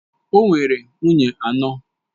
O nwere nwunye anọ.